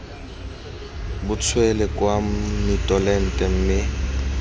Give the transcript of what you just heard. bo tswele kwa mitolente mme